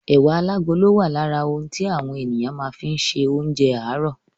Ẹ̀wà alágolo wà lára ohun tí àwọn ènìyàn kàn fi má ń ṣe oúnjẹ àárò.